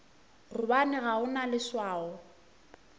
gobane ga o na leswao